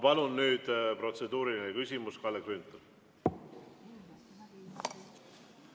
Palun nüüd protseduuriline küsimus, Kalle Grünthal!